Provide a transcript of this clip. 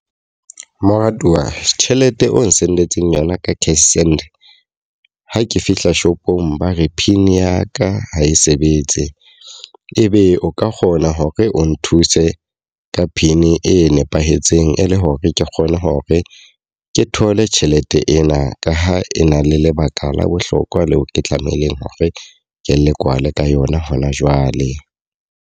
Moratuwa tjhelete o n-send-etseng yona ka cashsend, ha ke fihla shopong ba re pin ya ka ha e sebetse. E be o ka kgona hore o nthuse ka pin e nepahetseng e le hore ke kgone hore ke thole tjhelete ena. Ka ha e na le lebaka la bohlokwa leo ke tlamehileng hore ke le kwale ka yona hona jwale.